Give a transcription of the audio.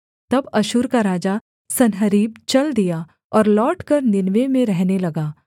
तब अश्शूर का राजा सन्हेरीब चल दिया और लौटकर नीनवे में रहने लगा